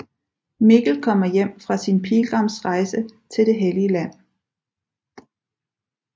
Mikkel kommer hjem fra sin pilgrimsrejse til det hellige land